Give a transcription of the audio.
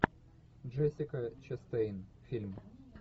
джессика честейн фильм